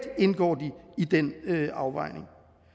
indgår i den afvejning